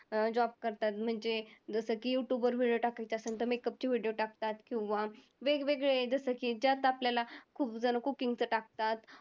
job करतात. म्हणजे जसं की YouTube वर video टाकायचं असेल तर makeup चे video टाकतात. किंवा वेगवेगळे जसं की त्यात आपल्याला खूपजणं cooking चं टाकतात.